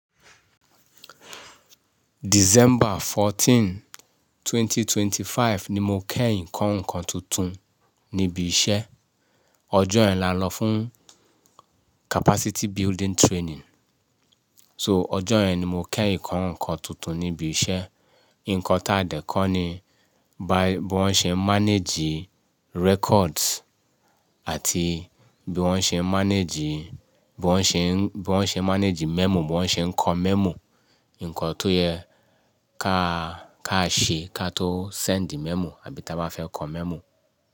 December fourteenth, twenty twenty-five ni mo ko ǹkan-ǹkan tuntun níbi iṣẹ́. Ọjọ́ yẹn lá n lọ fún capacity building training. So ọjọ́ ẹn ni mo kẹ́ ǹkan-ǹkan tuntun níbi iṣẹ́. Ǹkan táa dẹ́ kọ́ ni bí wọ́n ṣe ń manage records àti bí wọ́n ṣe ń manage, bí wọ́n ṣe ń, bí wọ́n ṣe ń manage memo, bí wọ́n ṣe ń kọ memo. Ǹkan tó yẹ ká, ká ṣe ká tó send memo àbí tí a bá fẹ́ kọ memo.